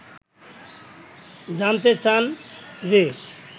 জানতে চান যে